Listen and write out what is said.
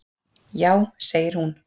Já, segir hún.